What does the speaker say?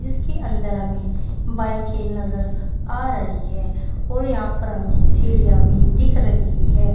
इसके अंदर हमें बाइके नजर आ रही है और यहां पर हमें सीढ़ियां भी दिख रही है।